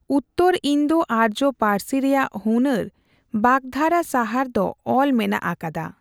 ᱩᱛᱛᱚᱨ ᱤᱱᱫᱳᱼᱟᱨᱡᱚ ᱯᱟᱹᱨᱥᱤ ᱨᱮᱭᱟᱜ ᱦᱩᱱᱟᱹᱨ ᱵᱟᱜᱫᱷᱟᱨᱟ ᱥᱟᱦᱟᱨ ᱫᱚ ᱚᱞ ᱢᱮᱱᱟᱜ ᱟᱠᱟᱫᱟ ᱾